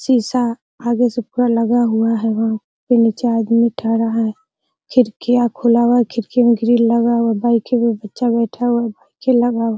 शीशा आगे से पूरा लगा हुआ है | नीचे आदमी खड़ा है | खिड़िकीआ खुला हुआ है खिड़कीआ में ग्रिल लगा हुआ है | बाइक पे बच्चा बैठा हुआ है --